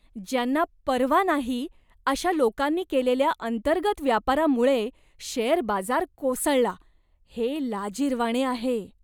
ज्यांना पर्वा नाही अशा लोकांनी केलेल्या अंतर्गत व्यापारामुळे शेअर बाजार कोसळला, हे लाजिरवाणे आहे.